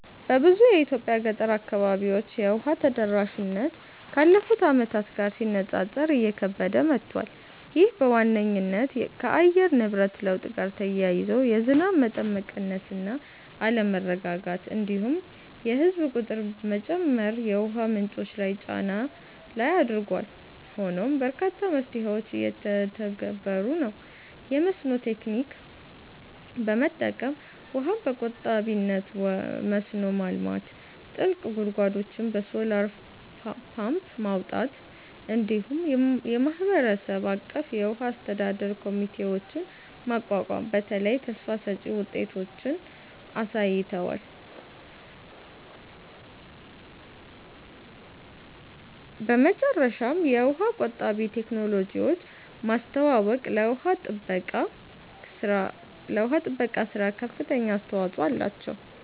በብዙ የኢትዮጵያ ገጠር አካባቢዎች የውሃ ተደራሽነት ካለፉት ዓመታት ጋር ሲነጻጸር እየከበደ መጥቷል። ይህ በዋነኝነት ከአየር ንብረት ለውጥ ጋር ተያይዞ የዝናብ መጠን መቀነስ እና አለመረጋጋት፣ እንዲሁም የህዝብ ቁጥር መጨመር የውሃ ምንጮች ላይ ጫና ላይ አድርጓል። ሆኖም በርካታ መፍትሄዎች እየተተገበሩ ነው፤ የመስኖ ቴክኒክ በመጠቀም ውሃን በቆጣቢነት መስኖ ማልማት፣ ጥልቅ ጉድጓዶችን በሶላር ፓምፕ ማውጣት፣ እንዲሁም የማህበረሰብ አቀፍ የውሃ አስተዳደር ኮሚቴዎችን ማቋቋም በተለይ ተስፋ ሰጭ ውጤቶችን አሳይተዋል። በመጨረሻም የውሃ ቆጣቢ ቴክኖሎጂዎችን ማስተዋወቅ ለውሃ ጥበቃ ሥራ ከፍተኛ አስተዋጽኦ አላቸው።